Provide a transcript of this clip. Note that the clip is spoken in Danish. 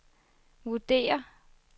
vurderer